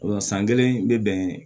san kelen bɛ bɛn